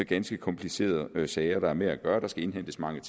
ganske komplicerede sager man har med at gøre der skal indhentes mange